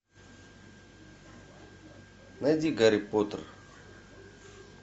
найди гарри поттер